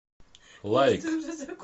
лайк